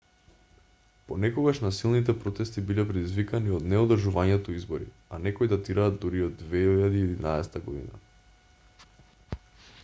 понекогаш насилните протести биле предизвикани од неодржувањето избори а некои датираат дури и од 2011 година